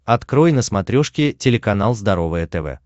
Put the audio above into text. открой на смотрешке телеканал здоровое тв